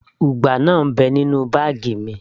ugba náà ń bẹ nínú báàgì mi